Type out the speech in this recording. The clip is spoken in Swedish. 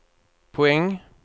poäng